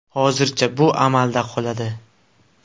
Hozircha bu amalda qoladi.